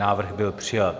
Návrh byl přijat.